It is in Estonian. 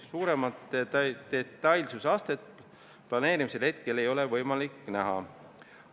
Suuremat detailsuse astet planeerimisel ei ole praegu võimalik näha.